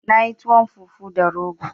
Na yin tuwon fufu da rogo